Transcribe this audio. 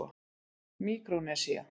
Míkrónesía